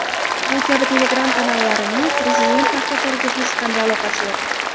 bu kabi telegram kanallarining Prezident maktablariga hech qanday aloqasi yo‘q.